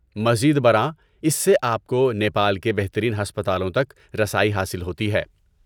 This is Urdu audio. مزید برآں، اس سے آپ کو نیپال کے بہترین ہسپتالوں تک رسائی حاصل ہوتی ہے۔